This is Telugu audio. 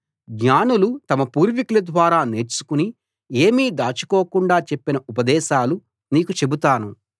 జ్ఞానులు తమ పూర్వీకుల ద్వారా నేర్చుకుని ఏమీ దాచుకోకుండా చెప్పిన ఉపదేశాలు నీకు చెబుతాను